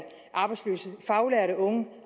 arbejdsløse faglærte unge og